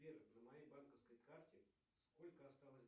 сбер на моей банковской карте сколько осталось